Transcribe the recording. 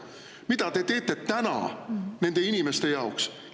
Mida te teete täna nende inimeste jaoks?